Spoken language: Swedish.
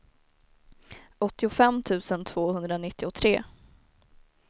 åttiofem tusen tvåhundranittiotre